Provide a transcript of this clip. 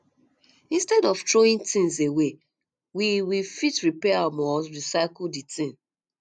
instead of throwing things away we we fit repair um or recycle di thing